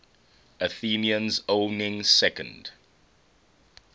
athenians owning second